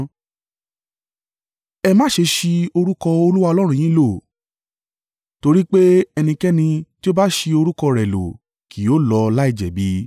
Ẹ má ṣe ṣi orúkọ Olúwa Ọlọ́run yín lò, torí pé ẹnikẹ́ni tí o bá ṣi orúkọ rẹ̀ lò kì yóò lọ láìjẹ̀bi.